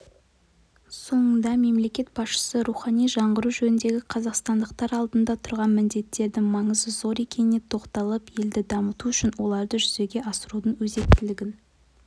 соңында мемлекет басшысы рухани жаңғыру жөніндегі қазақстандықтар алдында тұрған міндеттердің маңызы зор екеніне тоқталып елді дамыту үшін оларды жүзеге асырудың өзектілігін